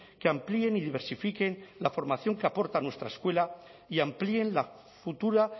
que amplíen y diversifiquen la formación que aporta nuestra escuela y amplíen la futura